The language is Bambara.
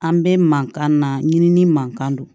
An bɛ mankan na ɲimini man kan don